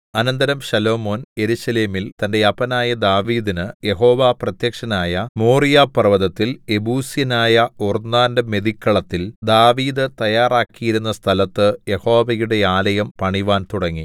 അനന്തരം ശലോമോൻ യെരൂശലേമിൽ തന്റെ അപ്പനായ ദാവീദിന് യഹോവ പ്രത്യക്ഷനായ മോറിയാപർവ്വതത്തിൽ യെബൂസ്യനായ ഒർന്നാന്റെ മെതിക്കളത്തിൽ ദാവീദ് തയാറാക്കിയിരുന്ന സ്ഥലത്ത് യഹോവയുടെ ആലയം പണിവാൻ തുടങ്ങി